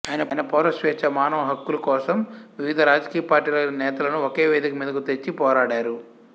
ఆయన పౌర స్వేచ్ఛ మానవ హక్కులు కోసం వివిధ రాజకీయ పార్టీల నేతలను ఒకే వేదికమీదకు తెచ్చి పోరాడారు